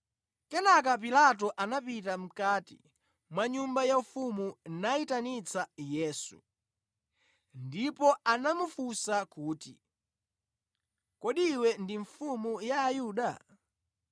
Kenaka Pilato anapita mʼkati mwa nyumba yaufumu nayitanitsa Yesu, ndipo anamufunsa kuti, “Kodi iwe ndi mfumu ya Ayuda?”